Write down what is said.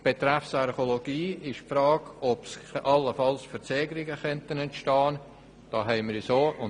Bezüglich der Archäologie stellt sich die Frage, ob allenfalls Verzögerungen entstehen könnten.